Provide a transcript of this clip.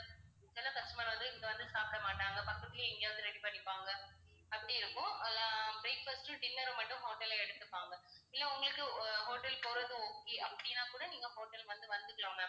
சில customer வந்து இங்க வந்து சாப்பிட மாட்டாங்க பக்கத்திலயே எங்கயாவது ready பண்ணிப்பாங்க அப்படி இருக்கும் ஆனா breakfast உம் dinner உம் மட்டும் hotel ல எடுத்துப்பாங்க இல்லை உங்களுக்கு அஹ் hotel போறது okay அப்படின்னா கூட நீங்க hotel வந்து வந்துக்கலாம் ma'am